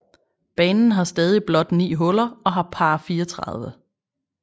Banen har stadig blot ni huller og har par 34